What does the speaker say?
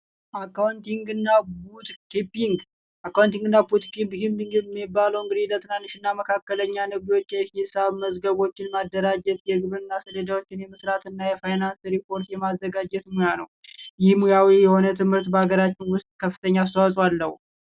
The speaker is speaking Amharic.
አካውንቲንግ እና ቡክ ኪፒንግ አካውንቲንግ እና ቡክ ኪፒንግ የሚባለው ለትናንሽ እና መካከለኛ የሂሳብ መዝገቦችን የማዘጋጀት የግብርና ሰሌዳዎችን የመስራት እና የፋይናንስ ሪፖርት የማዘጋጀት ሙያ ነው። ይህ ሙያዊ የሆነ ትምህርት በአገራችን ውስጥ ከፍተኛ አስተዋፆ አለው።